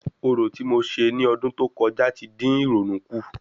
Orò ti mo ṣe ní ọdún tó kọjá tí dín ìrònú kùn